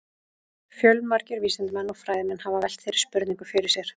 Fjölmargir vísindamenn og fræðimenn hafa velt þeirri spurningu fyrir sér.